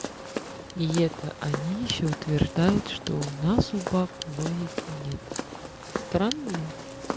и это они ещё утверждают что у нас у девушек логики нет странные